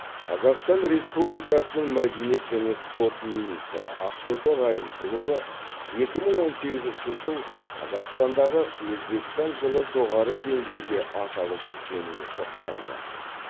қазақстан республикасының мәдениет және спорт министрі ақтоты райымқұлова екі мың он сегізінші жыл қазақстандағы өзбекстан жылы жоғары деңгейде аталып өткеніне тоқталды